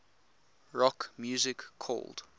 rock music called